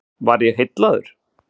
Var ég heillaður?